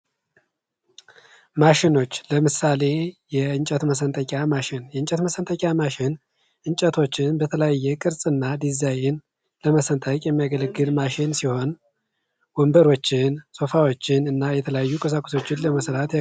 ማሽኖች ለምሳሌ፦ የእንጨት መሠንጠቂያ ማሽን የእንጨት መሠንጠቂያ ማሽን እንጨቶችን በተለያየ ቅርጽ እና ድዛይን ለመሰንጠቅ የሚያገለግል ማሽን ሲሆን ወንበሮችን፣ ሶፋዎችን እና የተለያዩ ቁሳቁሶችን ለመስራት ያገለግላል።